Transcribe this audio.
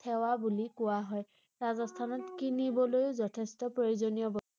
থেৱা বুলি কোৱা হয় ৷ ৰাজস্থানত কিনিবলৈও যথেষ্ট প্ৰয়োজনীয় বস্তু ৷